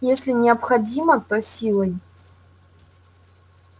если необходимо то силой